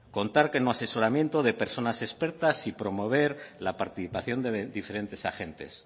contar con un asesoramiento de personas expertas y promover la participación de diferentes agentes